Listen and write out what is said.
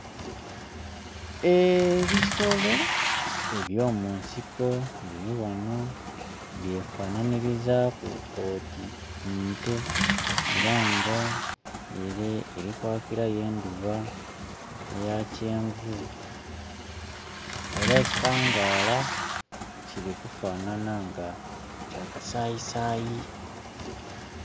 Eee ebisolo eby'omu nsiko biri ghano byefananhirizaku oti nte era nga ere eri kwakilayo endhuba eya kyenvu era ekitangala kili kufanana nga kya kasayisayi.